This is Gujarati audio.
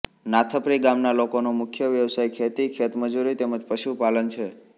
નાથપરી ગામના લોકોનો મુખ્ય વ્યવસાય ખેતી ખેતમજૂરી તેમ જ પશુપાલન છે